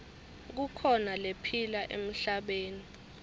kukhona lephila emhlabeni